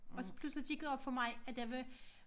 Og så pludselig gik det op for mig at der var